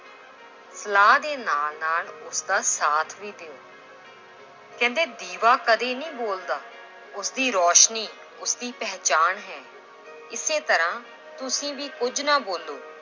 ਸਲਾਹ ਦੇ ਨਾਲ ਨਾਲ ਉਸਦਾ ਸਾਥ ਵੀ ਦਿਓ l ਕਹਿੰਦੇ ਦੀਵਾ ਕਦੇ ਨਹੀਂ ਬੋਲਦਾ, ਉਸਦੀ ਰੌਸ਼ਨੀ ਉਸਦੀ ਪਹਿਚਾਣ ਹੈ ਇਸੇ ਤਰ੍ਹਾਂ ਤੁਸੀਂ ਵੀ ਕੁੱਝ ਨਾ ਬੋਲੋ,